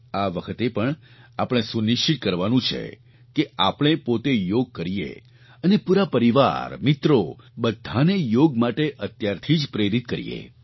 આ વખતે પણ આપણે સુનિશ્ચિત કરવાનું છે કે આપણે પોતે યોગ કરીએ અને પૂરા પરિવાર મિત્રો બધાને યોગ માટે અત્યારથી જ પ્રેરિત કરીએ